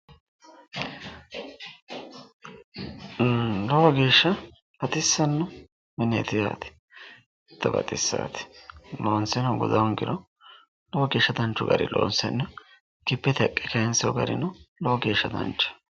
lowo geeshsha baxisanno mineeti yaate hiitto baxissaate loonseno guda hoongiro lowo geeshsha haqqe kayiinsoonni garino lowo geeshsha danchaho.